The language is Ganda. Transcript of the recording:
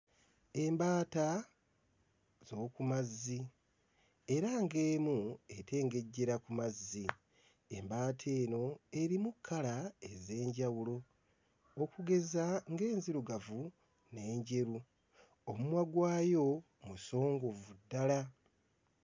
Embaata z'oku mazzi era ng'emu etengejjera ku mazzi, embaata eno erimu kkala ez'enjawulo okugeza ng'enzirugavu n'enjeru, omumwa gwayo musongovu ddala.